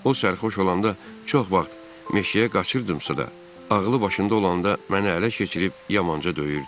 O sərxoş olanda çox vaxt meşəyə qaçırdımsa da, ağlı başında olanda məni ələ keçirib yamanca döyürdü.